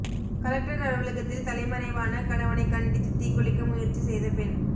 collector அலுவலகத்தில் தலைமறைவான கணவனை கண்டித்து தீக்குளிக்க முயற்சி செய்த பெண்